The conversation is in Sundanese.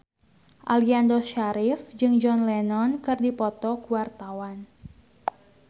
Aliando Syarif jeung John Lennon keur dipoto ku wartawan